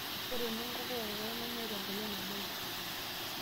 Ore nenkoko ekokoo nemeeta eng'olon nabaiki.